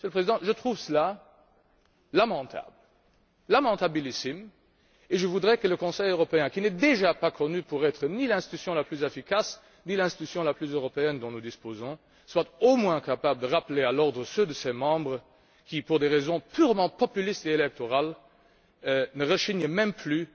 Monsieur le Président, je trouve cela lamentable, lamentablissime, et je voudrais que le Conseil européen, qui n'est déjà pas connu pour être l'institution la plus efficace, ni la plus européenne dont nous disposons, soit au moins capable de rappeler à l'ordre ceux de ses membres qui, pour des raisons purement populistes et électorales, ne rechignent même plus